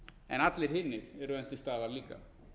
en allir hinir eru enn til staðar líka